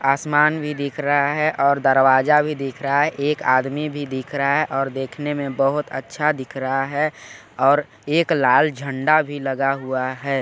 आसमान भी दिख रहा है और दरवाजा भी दिख रहा है और एक आदमी भी दिख रहा है और देखने में बहोत अच्छा दिख रहा है और एक लाल झंडा भी लगा हुआ हैं।